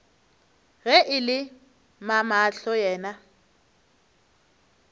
ge e le mamahlo yena